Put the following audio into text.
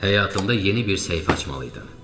Həyatımda yeni bir səhifə açmalıydım.